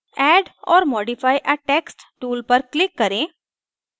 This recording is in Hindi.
add or modify a text tool पर click करें